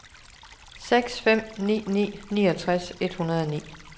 seks fem ni ni niogtres et hundrede og ni